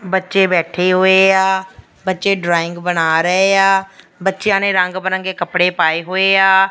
ਬੱਚੇ ਬੈਠੇ ਹੋਏ ਆ ਬੱਚੇ ਡਰਾਇੰਗ ਬਣਾ ਰਹੇ ਆ ਬੱਚਿਆਂ ਨੇ ਰੰਗ ਬਿਰੰਗੇ ਕੱਪੜੇ ਪਾਏ ਹੋਏ ਆ।